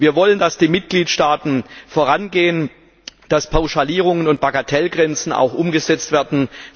Wir wollen, dass die Mitgliedstaaten vorangehen, dass Pauschalierungen und Bagatellgrenzen auch umgesetzt werden.